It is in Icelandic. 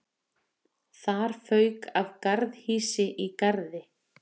Þak fauk af garðhýsi í Garði